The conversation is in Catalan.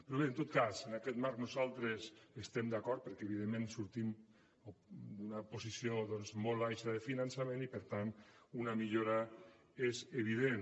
però bé en tot cas en aquest marc nosaltres hi estem d’acord perquè evidentment sortim d’una posició molt baixa de finançament i per tant una millora és evident